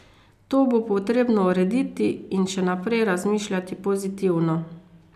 To bo potrebno urediti in še naprej razmišljati pozitivno.